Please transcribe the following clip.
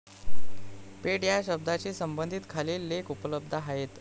पेठ या शब्दाशी सम्बंधित खालील लेख उपलब्ध आहेतः